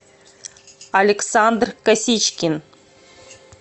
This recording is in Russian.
александр косичкин